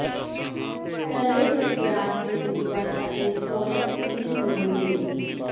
ਤਲੇ ਹੋਏ ਪਿਆਜ਼ ਦੇ ਉੱਪਰ ਅਤੇ ਪੋਲਕ ਕਰੀਮ ਡੋਲ੍ਹ ਦਿਓ